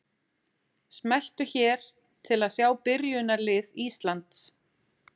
Smelltu hér til að sjá byrjunarlið Íslands.